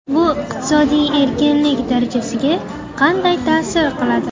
Bu iqtisodiy erkinlik darajasiga qanday ta’sir qiladi?